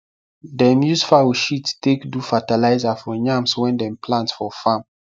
dem use fowl shit take do fatalize for yams wen dem plant for farm